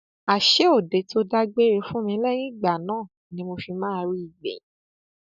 àṣé ọdẹ tó dágbére fún mi lẹyìn ìgbà náà ni mo fi máa rí i gbẹyìn